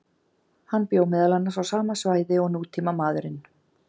Hann bjó meðal annars á sama svæði og nútímamaðurinn.